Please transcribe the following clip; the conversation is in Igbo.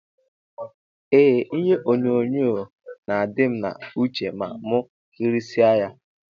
Eeh ihe onyonyo na adim na uche ma mu kirisie ya.